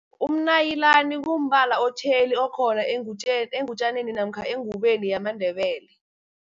Umnayilani kumbala otjheli, okhona engutjaneni namkha engubeni yamaNdebele.